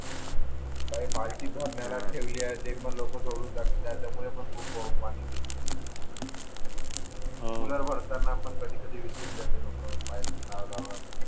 बालटी भरण्याला ठेवली आहे ते पण नको सोडून जातात त्याच्यामुळे पण खूप पाणी दूषित होते भरताना पण कधी कधी विसरून जाते लोक पाईप लावल्यावर